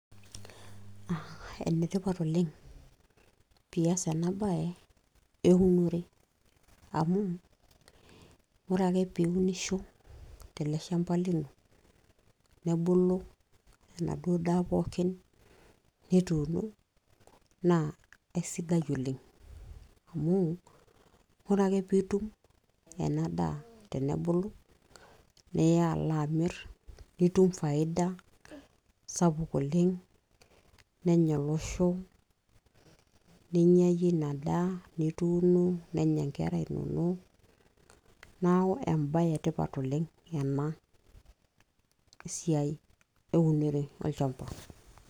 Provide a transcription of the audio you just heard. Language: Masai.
aa enetipat oleng pias ena baye eunore amuu ore ake piunisho tele shamba lino nebulu enaduo daa pookin nituuno naa aisidai oleng amuu ore ake piitum ena daa tenebulu niya alo amirr nitum faida sapuk oleng nenya olosho ninyia yie ina daa nituuno nenya inkera inonok naaku embaye etipat oleng ena siai eunore olchamba.